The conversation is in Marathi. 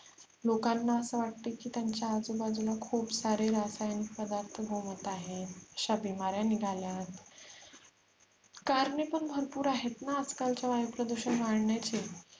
लोकांना अस वाटते की त्यांच्या आजूबाजूला खुप सारे रसायन पदार्थ घुमत आहेत अश्या बीमाऱ्या निघल्यात कारणे पण भरपुर आहेत ना आजकालच्या वायु प्रदुषण वाढण्याचे